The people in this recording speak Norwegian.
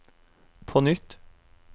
på nytt